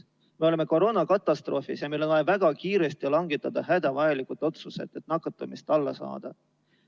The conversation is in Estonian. Me oleme koroonakatastroofis ja meil on vaja väga kiiresti langetada hädavajalikud otsused, et nakatumine alla saada.